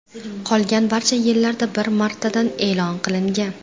Qolgan barcha yillarda bir martadan e’lon qilingan.